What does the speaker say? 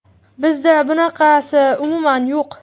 Bizda bunaqasi umuman yo‘q.